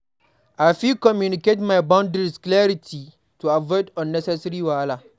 I fit communicate my boundaries clearly to avoid unnecessary wahala.